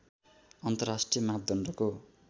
अन्तर्राष्ट्रिय मापदण्डको